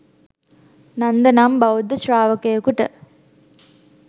නන්ද නම් බෞද්ධ ශ්‍රාවකයකුට